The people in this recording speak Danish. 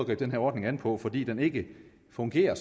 den her ordning an på fordi den ikke fungerer